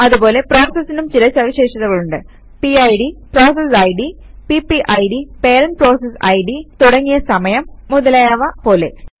അതുപോലെ പ്രോസസസിനും ചില സവിശേഷതകളുണ്ട് പിഡ് പിപിഡ് തുടങ്ങിയ സമയം മുതലായവ പോലെ